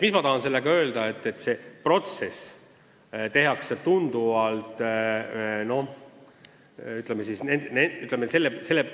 Mida ma tahan sellega öelda?